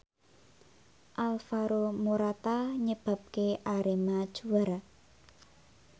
Alvaro Morata nyebabke Arema juara